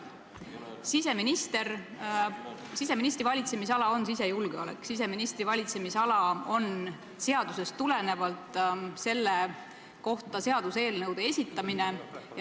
Siseministri valitsemisala on sisejulgeolek ja siseministri valitsemisala on seadusest tulenevalt selle kohta seaduseelnõude esitamine.